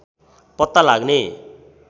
पत्ता लाग्ने